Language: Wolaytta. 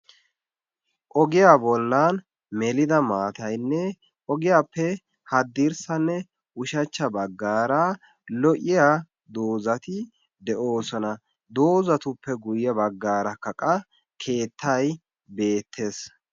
ogiya bolan melidda maataynne ogiyaappe hadirsanne ushshachcha bagaara lo'iya dozati de'oosona.